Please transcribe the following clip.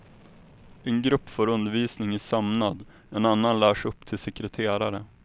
En grupp får undervisning i sömnad, en annan lärs upp till sekreterare.